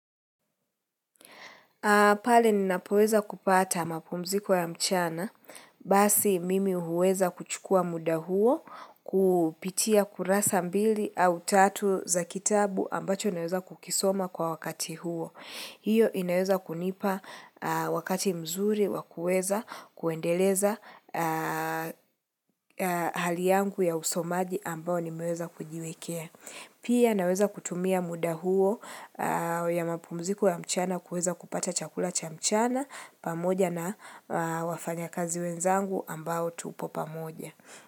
Pale ninapoweza kupata mapumziko ya mchana, basi mimi huweza kuchukua muda huo, kupitia kurasa mbili au tatu za kitabu ambacho naweza kukisoma kwa wakati huo. Hiyo inaweza kunipa wakati mzuri wakuweza kuendeleza hali yangu ya usomaji ambao nimeweza kujiwekea. Pia naweza kutumia muda huo ya mapumziko ya mchana kuweza kupata chakula cha mchana pamoja na wafanya kazi wenzangu ambao tupo pamoja.